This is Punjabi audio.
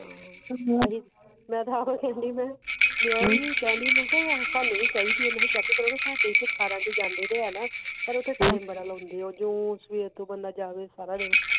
ਮੈਂ ਤਾਂ ਆਪ ਕਹਿਣੀ ਆ ਮੈਂ ਵੀ ਕਹਿਣੀ ਮੈਂ ਕਿਹਾ ਸਾਨੂੰ ਵੀ ਚਾਹੀਦੀ ਹੈ ਮੈਂ ਕਿਹਾ check ਕਰਾਉਣੀ ਪਰ ਉਹ ਤਾਂ ਬੜਾ ਲਾਉਂਦੇ ਆ ਜੋ ਸਵੇਰ ਤੋਂ ਬੰਦਾ ਜਾਵੇ ਸਾਰਾ ਦਿਨ